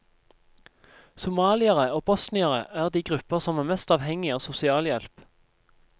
Somaliere og bosniere er de grupper som er mest avhengig av sosialhjelp.